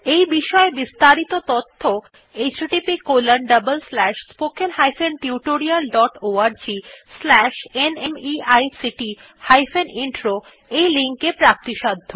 এই বিষয় বিস্তারিত তথ্য httpspoken tutorialorgNMEICT Intro ei link এ প্রাপ্তিসাধ্য